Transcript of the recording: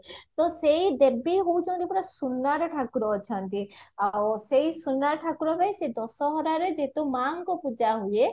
ତ ସେଇ ଦେବୀ ହଉଚନ୍ତି ପୁରା ପୁରା ସୁନାର ଠାକୁର ଅଛନ୍ତି ଆଉ ସେଓ ସୁନାର ଠାକୁର ପାଇଁ ସେ ଦଶହରରେ ଯେହେତୁ ମାଙ୍କ ପୂଜା ହୁଏ